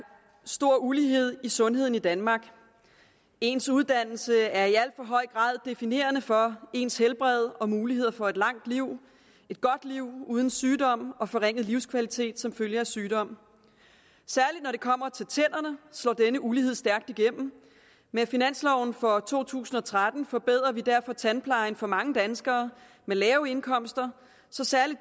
stor ulighed i sundheden i danmark ens uddannelse er i al for høj grad definerende for ens helbred og muligheder for et langt liv et godt liv uden sygdom og forringet livskvalitet som følge af sygdom særlig når det kommer til tænderne slår denne ulighed stærkt igennem med finansloven for to tusind og tretten forbedrer vi derfor tandplejen for mange danskere med lave indkomster så særlig